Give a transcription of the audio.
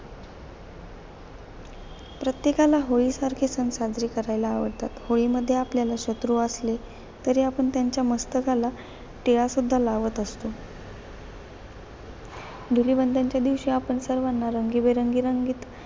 प्रत्येकाला होळीसारखे सण साजरे करायला आवडतात. होळीमध्ये आपल्याला शत्रू असले, तरी आपण त्यांच्या मस्तकाला टिळा सुद्धा लावत असतो. धुलीवंदन च्या दिवशी आपण सर्वांना रंगीबेरंगी रंगीत,